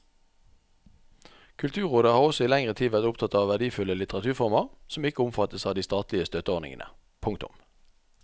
Kulturrådet har også i lengre tid vært opptatt av verdifulle litteraturformer som ikke omfattes av de statlige støtteordningene. punktum